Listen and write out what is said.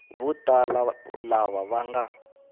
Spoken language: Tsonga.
vo tala lava va nga